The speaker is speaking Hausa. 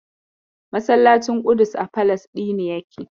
Masallacin Ƙudus a Falasɗinu yake.